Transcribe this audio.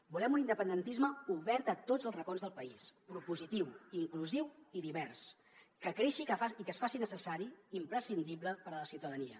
volem un independentisme obert a tots els racons del país propositiu inclusiu i divers que creixi i que es faci necessari imprescindible per a la ciutadania